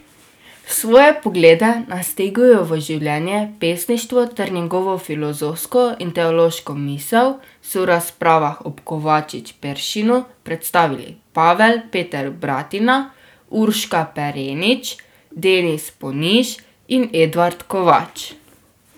Svoje poglede na Stegujevo življenje, pesništvo ter njegovo filozofsko in teološko misel so v razpravah ob Kovačič Peršinu predstavili Pavel Peter Bratina, Urška Perenič, Denis Poniž in Edvard Kovač.